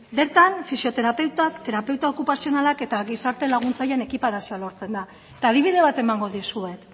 bertan fisioterapeutak terapeuta okupazionalak eta gizarte laguntzaileen ekiparazioa lortzen da eta adibide bat emango dizuet